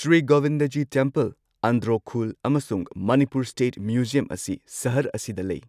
Shri Govindaji temple, Andro Khul, ꯑꯃꯁꯨꯡ Manipur state museum ꯑꯁꯤ ꯁꯍꯔ ꯑꯁꯤꯗ ꯂꯩ꯫